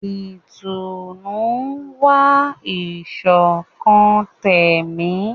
Ìtùnú ń wá ìṣọ̀kan tẹ̀mí.